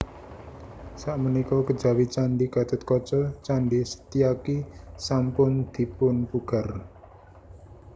Sakmenika kejawi Candhi Gatotkaca Candhi Setyaki sampun dipunpugar